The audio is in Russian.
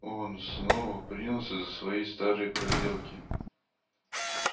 он снова принялся за свои старые проделки